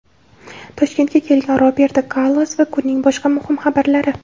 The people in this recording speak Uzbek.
Toshkentga kelgan Roberto Karlos va kunning boshqa muhim xabarlari.